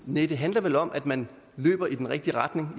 næh det handler vel om at man løber i den rigtige retning